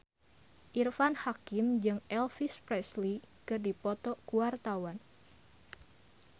Irfan Hakim jeung Elvis Presley keur dipoto ku wartawan